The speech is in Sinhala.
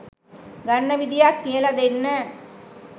ගන්න විදිහක් කියල දෙන්න